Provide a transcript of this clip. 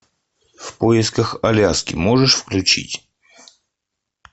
в поисках аляски можешь включить